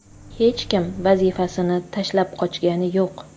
Hech kim vazifasini tashlab qochgani yo‘q.